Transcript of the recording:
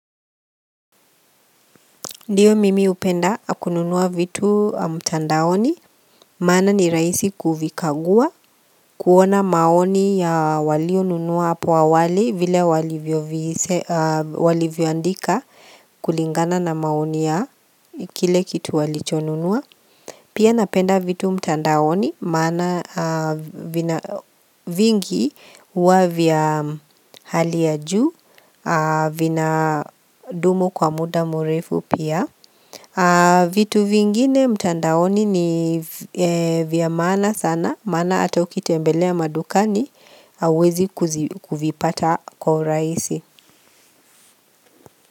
Ndiyo mimi hupenda kununua vitu mtandaoni, maana ni rahisi kuvikagua, kuona maoni ya walio nunua apo awali vile walivyo andika kulingana na maoni ya kile kitu walichonunua. Pia napenda vitu mtandaoni maana vina vingi huwa vya hali ya juu vinadumu kwa muda murefu pia vitu vingine mtandaoni ni vya maana sana maana ata ukitembelea madukani hauwezi kuvipata kwa urahisi.